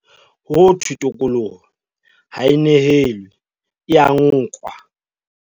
Ho thwe tokoloho ha e nehelwe, e ya nkwa.